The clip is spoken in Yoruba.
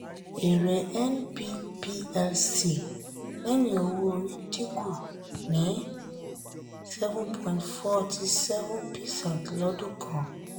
èrè nb plc lẹ́yìn owó orí dínkù ní seven point forty seven percent lọ́dún kan.